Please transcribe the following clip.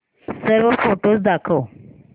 सर्व फोटोझ दाखव